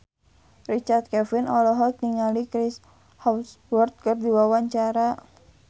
Richard Kevin olohok ningali Chris Hemsworth keur diwawancara